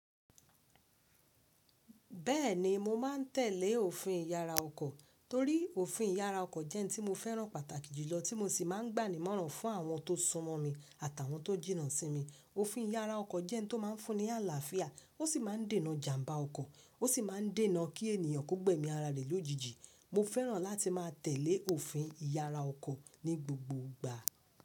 Bẹ́ẹ̀ni mo máa ń tẹ̀lé òfin ìyára ọkọ̀ torí òfin ìyára ọkọ̀ jẹ́ ẹni tí mo fẹ́ràn pàtàkì jùlọ tí mo sì máa ń gbà ní mọ́ran fún àwọn tó sunmọ́ mi àtàwọn tó jìnnà sí mi. Òfin ìyára ọkọ̀ jẹ́ ẹni tó máa ń fún ni àlàáfíà ó sì máa ń dènà ìjàmbá ọkọ̀, ó sì máa ń dènà kí ènìyàn kó gbẹ́mi ara rẹ̀ lójijì. Mo fẹ́ràn láti máa tẹ̀lé òfin ìyára ọkọ̀ ní gbogbo ìgbà.